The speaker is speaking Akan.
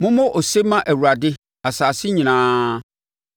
Mommɔ ose mma Awurade, asase nyinaa